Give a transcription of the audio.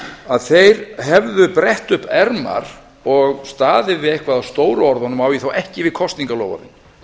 að þeir hefðu brett upp ermar og staðið við eitthvað af stóru orðunum og á ég þá ekki við kosningaloforðin